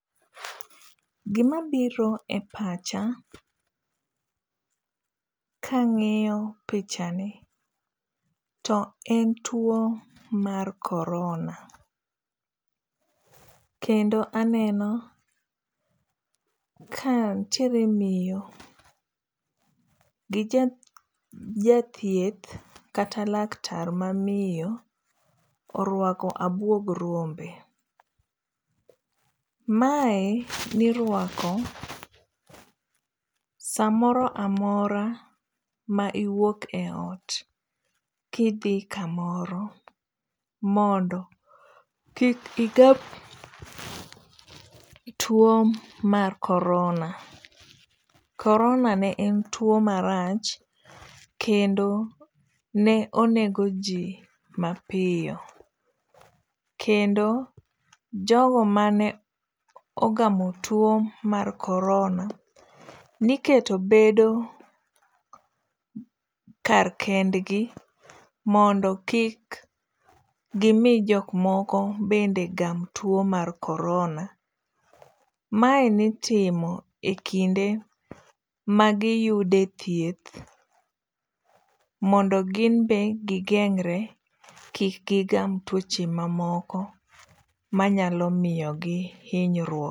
Gima biro e pacha ka ang'iyo pichani, to en tuo mar korona. Kendo aneno ka nitiere miyo gi jathieth kata laktar ma miyo orwako abuog rombe. Mae nirwako samoro amora ma iwuok e ot kidhi kamoro mondo kik igam tuo mar korona. Korona ne en tuo marach kendo ne onego ji mapiyo. Kendo jogo mane ogamo tuo korona, ne iketo bedo kar kendgi mondo kik gimi jok moko bende gam tuo korona. Mae ne itimo e kinde ma giyude thieth mondo ginbe gigeng're kik gigam tuoche mamoko manyalo miyogi hinyruok.